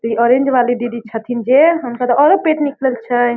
जे ऑरेंज वाली दीदी छथीन जे हुनकर ओरे पेट निकलल छै।